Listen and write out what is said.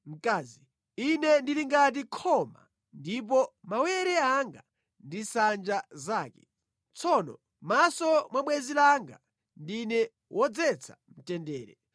Ine ndili ngati khoma, ndipo mawere anga ndi nsanja zake. Tsono mʼmaso mwa bwenzi langa ndine wobweretsa mtendere.